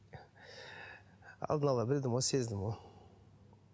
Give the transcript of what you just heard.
алдын ала білдім ғой сездім ғой